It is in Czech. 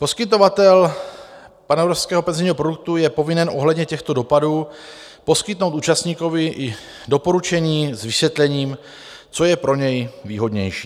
Poskytovatel panevropského penzijního produktu je povinen ohledně těchto dopadů poskytnout účastníkovi i doporučení s vysvětlením, co je pro něj výhodnější.